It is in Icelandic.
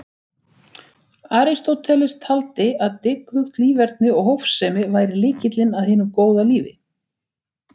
Aristóteles taldi að dygðugt líferni og hófsemi væri lykillinn að hinu góða lífi.